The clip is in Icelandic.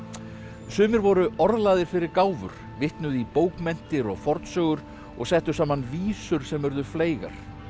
sumir voru fyrir gáfur vitnuðu í bókmenntir og fornsögur og settu saman vísur sem urðu fleygar